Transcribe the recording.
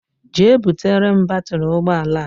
Jee butere m batiri ụgbọala a!!!!